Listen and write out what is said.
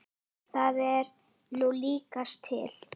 Það er nú líkast til.